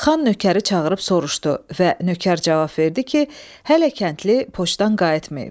Xan nökəri çağırıb soruşdu və nökər cavab verdi ki, hələ kəndli poçtdan qayıtmayıb.